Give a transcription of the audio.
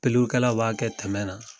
Pelulikɛraw b'a kɛ tɛmɛ na